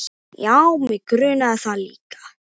Já, mig grunaði það líka.